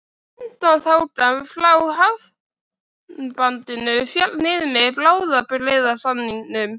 Undanþágan frá hafnbanninu félli niður með bráðabirgðasamningnum.